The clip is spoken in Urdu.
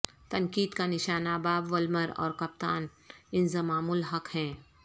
تنقید کا نشانہ باب وولمر اور کپتان انضمام الحق ہیں